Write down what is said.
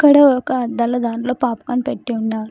ఇక్కడ ఒక అద్దాల దాంట్లో పాప్ కార్న్ పెట్టి ఉన్నారు.